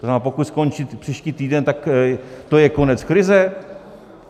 To znamená, pokud skončí příští týden, tak to je konec krize?